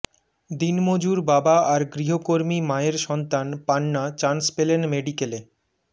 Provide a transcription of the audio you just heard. দিনমজুর বাবা আর গৃহকর্মী মায়ের সন্তান পান্না চান্স পেলেন মেডিকেলে